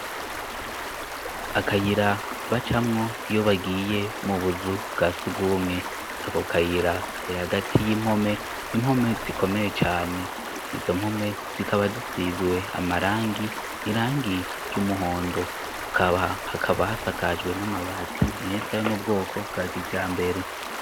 Akayira bacamwo iyo bagiye mu buzu bwa sugumwe ako akayira kare hagati y'impome impome zikomeye cane izo mpome zikaba zisizwe amarangi irangi ry'umuhondo kaba hakaba hasakajwe n'amabati meza ayo mu bwoko bwa kija a mbere.